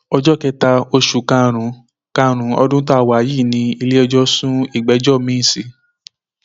ọjọ kẹta oṣù karùnún karùnún ọdún tá a wà yìí ni iléẹjọ sún ìgbẹjọ miín sí